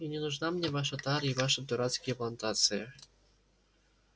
и не нужна мне ваша тара и ваши дурацкие плантации